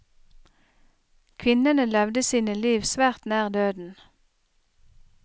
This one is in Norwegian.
Kvinnene levde sine liv svært nær døden.